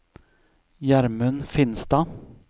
Gjermund Finstad